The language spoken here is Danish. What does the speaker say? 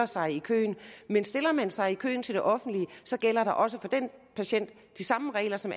sig i køen men stiller man sig i køen til det offentlige gælder der også for den patient de samme regler som